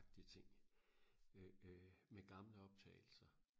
agtig ting øh øh med gamle optagelser